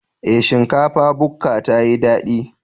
Ee, shinkafa bukka tayi dadi.